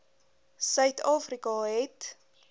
suid afrika het